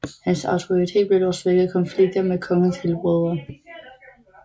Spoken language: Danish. Hans autoritet blev dog svækket af konflikter med kongens helbrødre